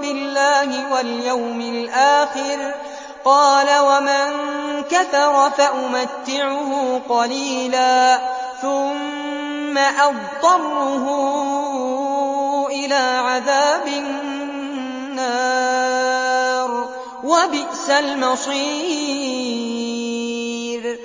بِاللَّهِ وَالْيَوْمِ الْآخِرِ ۖ قَالَ وَمَن كَفَرَ فَأُمَتِّعُهُ قَلِيلًا ثُمَّ أَضْطَرُّهُ إِلَىٰ عَذَابِ النَّارِ ۖ وَبِئْسَ الْمَصِيرُ